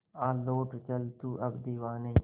आ लौट चल तू अब दीवाने